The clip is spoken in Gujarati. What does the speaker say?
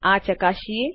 આ ચકાસીએ